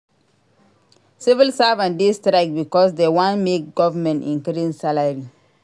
Civil servants dey strike because dey wan make government increase salary.